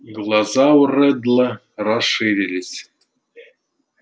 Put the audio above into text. глаза у реддла расширились